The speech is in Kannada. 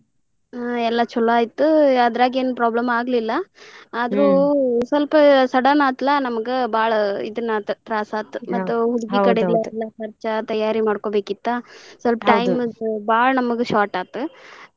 ಹ್ಮ್ ಎಲ್ಲಾ ಚೊಲೊ ಆಯ್ತು ಅದ್ರಾಗ ಏನ್ problem ಆಗ್ಲಿಲ್ಲಾ ಆದ್ರು ಸ್ವಲ್ಪ sudden ಅತ್ಲಾ ನಮ್ಗ ಬಾಳ್ ಇದನ್ನ ಆತ್ ತ್ರಾಸ್ ಆತ್ ಮತ್ತ್ ಹುಡಗಿ ಕಡೆ ಎಲ್ಲಾ ಖರ್ಚ ತಯಾರಿ ಮಾಡ್ಕೊಬೇಕಿತ್ತ ಸ್ವಲ್ಪ time ಬಾಳ್ ನಮ್ಗ short ಆತ್.